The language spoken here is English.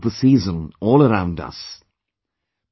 We can feel the pink of the season all around us